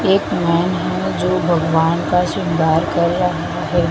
एक मैन है जो भगवान का श्रृंगार कर रहें हैं।